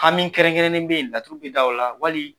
Hami kɛrɛnnen bɛ yen laturu bi da o la wali ?